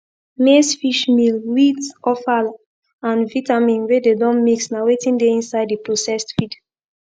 maize fish meal wheat offal and vitamin wey dey don mix na wetin dey inside the processed feed